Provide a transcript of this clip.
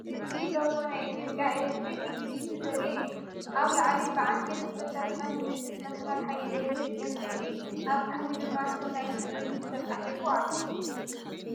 እዚ ሎጎ ናይ ኢትዮጵያ ኤሌክትሪክ ዩቲሊቲ ዘርኢ እዩ። ኣብ ላዕሊ ብዓንኬል ዝተሰርሐ ምልክት መስመር ሓይሊ ኤሌክትሪክ ዕንጨይቲ፣ ኣብ ታሕቲ ድማ ስም ናይቲ ድርጅት ተፃሒፉ ኣሎ።